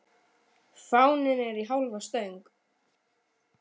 Fáninn er í hálfa stöng.